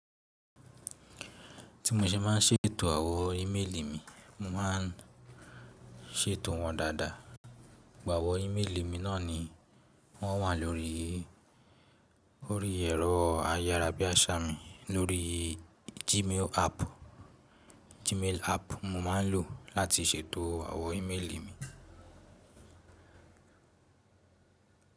Tí mo ṣe má ń ṣètò àwọn íméèlì mi, mo má n ṣètò wọn dáadáa. Àwọ́ íméèlì mi náà ni wọ́n wà lórí. O rí ẹ̀rọ ayárabíàṣá mi lórí Gmail app. Gmail app mo má ń lò láti ṣètò àwọn íméèlì mi.